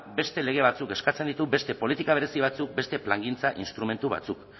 beste lege batzuk eskatzen ditu beste politika berezi batzuk beste plangintza instrumentu batzuk